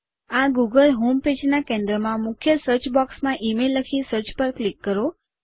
આ Google home પેજના કેન્દ્રમાં મુખ્ય સર્ચ બૉક્સમાં ઇમેઇલ લખી સર્ચ પર ક્લિક કરો